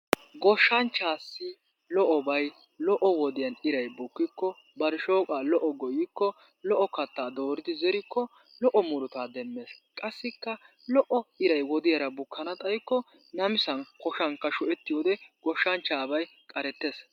Goshshanchchassi lo'obay lo'o wodiyan iray bukkikko bari, bari shooqaa lo"o gooyikko, lo"o kattaa dooridi zerikko, lo"o murutaa demmees qassikka lo"o iray wodiyara bukkanna xaykko namissan koshshankka sohettiyode goshshanchchabay qarettees.